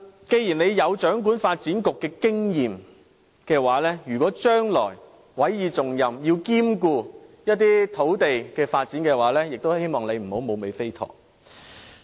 既然他有掌管發展局的經驗，如果將來委以重任，需要兼顧一些土地發展時，也希望他不要變成"無尾飛陀"。